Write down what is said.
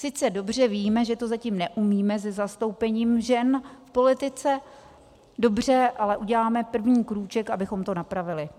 Sice dobře víme, že to zatím neumíme se zastoupením žen v politice, dobře, ale uděláme první krůček, abychom to napravili.